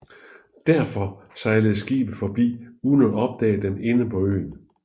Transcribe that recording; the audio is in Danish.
Derfor sejler skibet forbi uden at opdage dem inde på øen